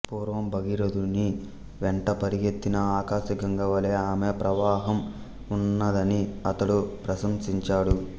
పూర్వం భగీరథుని వెంట పరుగెత్తిన ఆకాశగంగ వలె ఆమె ప్రవాహం ఉన్నదని అతడు ప్రశంసించాడు